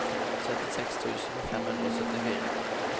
syttiseks tusen fem hundre og syttifire